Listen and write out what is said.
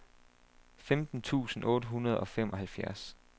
femten tusind otte hundrede og femoghalvfjerds